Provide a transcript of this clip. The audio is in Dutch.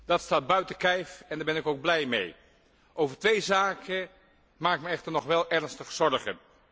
Dat staat buiten kijf en daar ben ik ook blij mee. Over twee zaken maak ik mij echter nog wel ernstige zorgen.